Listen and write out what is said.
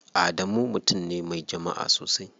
Adamu mutum ne me jama'a sosai.